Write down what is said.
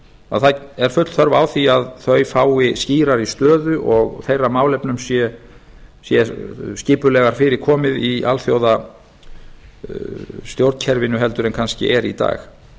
að það er full þörf á því að þau fái skýrari stöðu og þeirra málefnum sé skipulegar fyrir komið í alþjóðastjórnkerfinu en kannski er í dag